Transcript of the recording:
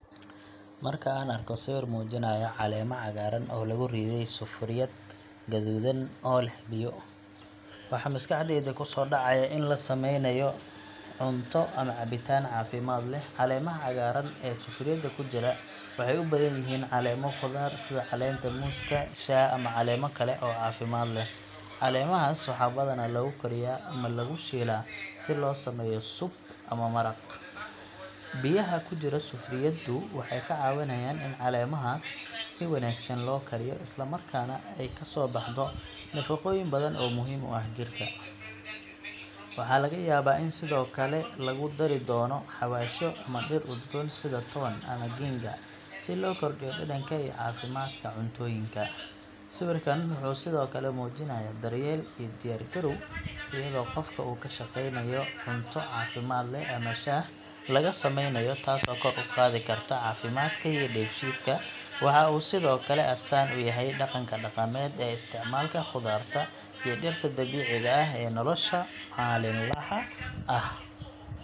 Marka aan arko sawir muujinaya caleemo cagaaran oo lagu riday sufuriyad guduudan oo leh biyo, waxa maskaxdayda ku soo dhacaya in la sameynayo cunto ama cabitaan caafimaad leh. Caleemaha cagaaran ee sufuriyada ku jira waxay u badan yihiin caleemo khudaar, sida caleenta muuska, shaah ama caleemo kale oo caafimaad leh. Caleemahaas waxaa badanaa lagu kariyaa ama lagu shiilaa si loo sameeyo soup ama maraq. Biyaha ku jira sufuriyaddu waxay ka caawinayaan in caleemahaas si wanaagsan loo kariyo, isla markaana ay ka soo baxdo nafaqooyin badan oo muhiim u ah jirka. Waxaa laga yaabaa in sidoo kale lagu dari doono xawaashyo ama dhir udgoon sida toon ama ginger si loo kordhiyo dhadhanka iyo caafimaadka cuntooyinka. Sawirkan wuxuu sidoo kale muujinayaa daryeel iyo diyaargarow, iyadoo qofka uu ka shaqeynayo cunto caafimaad leh ama shaah laga sameynayo, taasoo kor u qaadi karta caafimaadka iyo dheefshiidka. Waxa uu sidoo kale astaan u yahay dhaqanka dhaqameed ee isticmaalka khudaarta iyo dhirta dabiiciga ah ee nolosha maalinlaha ah.